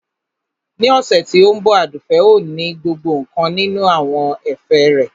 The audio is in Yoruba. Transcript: Ní ọ̀sẹ̀ tí ó ń bọ̀ Àdùfẹ̀ ò ní gbọ́ nkankan nínú àwọn ẹ̀fẹ̀ rẹ